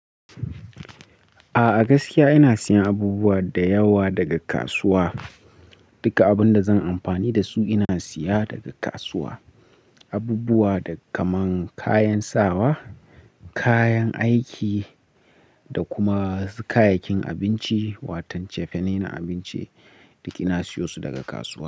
A gaskiya ina siyan abubuwa da yawa daga kasuwa. Duka abun da zan amfani da su ina siya daga kasuwa. Abubuwada kaman kayan sawa, kayan aiki da kuma kayayyakin abinci, watan cefane na abinci duk ina siyo su daga kasuwa.